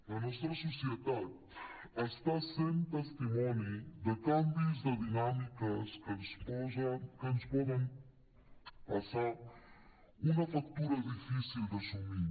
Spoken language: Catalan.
la nostra societat està sent testimoni de canvis de dinàmiques que ens poden passar una factura difícil d’assumir